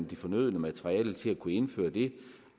de fornødne materialer til at kunne indføre det